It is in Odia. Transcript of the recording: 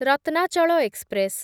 ରତ୍ନାଚଳ ଏକ୍ସପ୍ରେସ୍